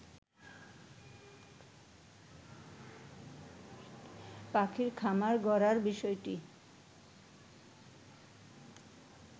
পাখির খামার গড়ার বিষয়টি